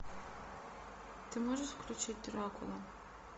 ты можешь включить дракула